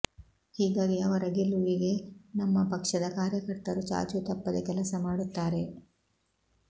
ಹೀಗಾಗಿ ಅವರ ಗೆಲುವಿಗೆ ನಮ್ಮ ಪಕ್ಷದ ಕಾರ್ಯಕರ್ತರು ಚಾಚೂ ತಪ್ಪದೇ ಕೆಲಸ ಮಾಡುತ್ತಾರೆ